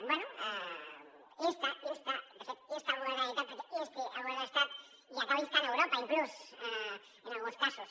bé de fet insta el govern de la generalitat perquè insti el govern de l’estat i acabi instant europa inclús en alguns casos